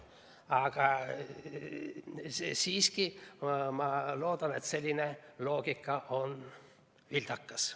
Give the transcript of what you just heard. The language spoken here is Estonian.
Aga siiski ma loodan, et selline loogika on vildakas.